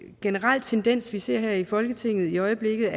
generel tendens vi ser her i folketinget i øjeblikket